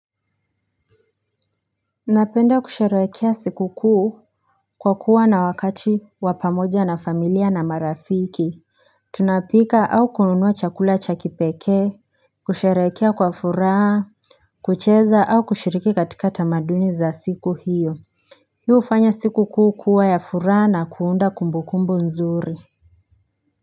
Napenda kusherehekea siku kuu kwa kuwa na wakati wa pamoja na familia na marafiki Tunapika au kununua chakula cha kipekee kusherehekea kwa furaa kucheza au kushiriki katika tamaduni za siku hiyo Hii ufanya siku kuu kuwa ya furaha na kuunda kumbukumbu nzuri.